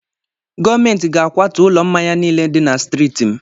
Gọọmenti ga-akwatu ụlọ mmanya niile dị na striiti m.